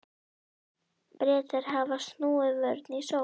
Bretar hafa snúið vörn í sókn, sagði Stefán.